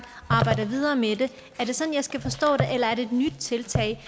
arbejder videre med dem er det sådan jeg skal forstå det eller er det et nyt tiltag